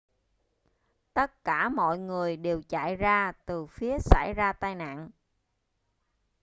tất cả mọi người đều chạy ra từ phía xảy ra tai nạn